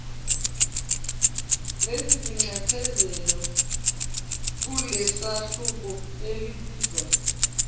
lezinxephezelo kulesahluko elibizwa